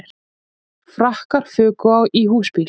Frakkar fuku í húsbíl